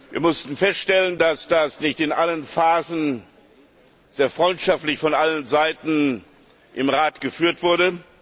Wir mussten feststellen, dass das nicht in allen Phasen sehr freundschaftlich von allen Seiten im Rat geführt wurde.